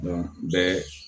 bɛɛ